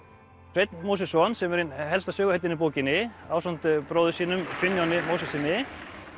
Sveinn Mósesson sem er ein helsta söguhetjan í bókinni ásamt bróður sínum Finnjóni